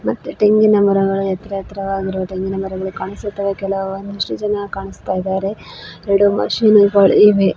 ಮತ್ತೆ ತೆಂಗಿನ ಮರಗಳನ್ನು ಎತ್ತಿರ ಎತ್ತರವಾಗಿರುವ ತೆಂಗಿನ ಮರಗಳು ಕಾಣಿಸುತ್ತವೆ ಕೆಲವು ಒಂದಿಷ್ಟು ಜನ ಕಾಣಿಸ್ತಾ ಇದ್ದಾರೆ ಎರಡು ಮಷೀನ್ ಗಳು ಇವೆ.